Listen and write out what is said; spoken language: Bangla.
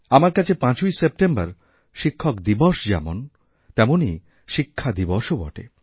আমার কাছে ৫ই সেপ্টেম্বর শিক্ষক দিবস যেমন তেমনইশিক্ষাদিবসও বটে